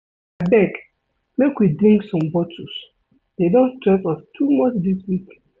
Abeg make we drink some bottles, dey don stress us too much dis week.